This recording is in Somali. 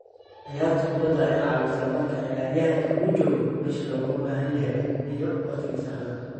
Ciyaarta kubadda ayaa caawisa marka ciyaaryahanka uu jooggo meeshii looga baahan yahay iyo waqtiga saxda ah.